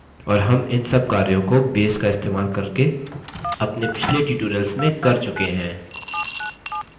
और हम इन सब कार्यों को base का इस्तेमाल करके अपने पिछले tutorials में कर चुके हैं